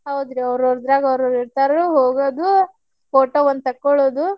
ಹೌದ್ರಿ ಅವೌರದ್ರಾಗ ಅವೌರ್ ಇರ್ತಾರ ಹೋಗೋದು photo ಒಂದ್ ತಕ್ಕೊಳ್ಳುದು.